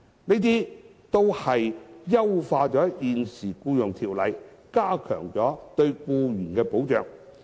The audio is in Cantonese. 這些安排均優化了現行的《僱傭條例》，加強了對僱員的保障。